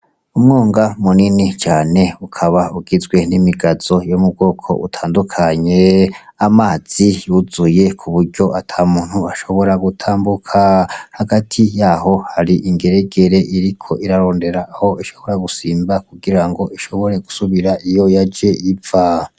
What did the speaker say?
Umwonga munini cane ukaba ugizwe n'imigazo yo mubwoko butandukanye. Amazi yuzuye kuburyo atamuntu ashobora gutambuka. Hagati yaho hari ingeregere iriko irarondera Aho ishobora gusimba kugirango ishobore gusubira iyo yaje iva.